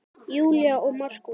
Júlía og Markús.